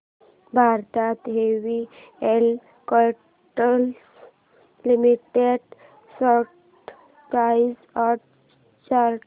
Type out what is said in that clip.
Bharat heavy electricals limited stock price and chart